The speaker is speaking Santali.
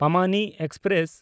ᱯᱟᱢᱟᱱᱤ ᱮᱠᱥᱯᱨᱮᱥ